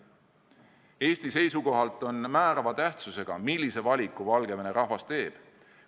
Eesti seisukohalt on määrava tähtsusega, millise valiku Valgevene rahvas teeb.